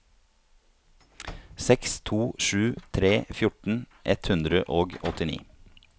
seks to sju tre fjorten ett hundre og åttini